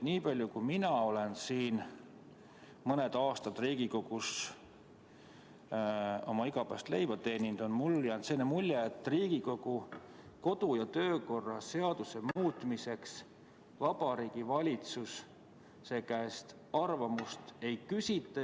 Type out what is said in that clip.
Nii kaua kui mina olen siin Riigikogus oma igapäevast leiba teeninud, on mulle jäänud mulje, et Riigikogu kodu- ja töökorra seaduse muutmiseks Vabariigi Valitsuse käest arvamust ei küsita.